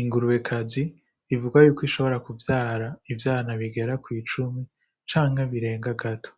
Ingurubekazi bivugwa yuko ishobora kuvyara ivyana bigera kw'icumi canke birenga gato.